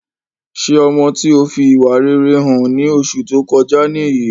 Ṣé ọmọ tí ó fi ìwà rere hàn ní oṣù tó kọjá niyi?